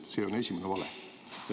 See on esimene vale.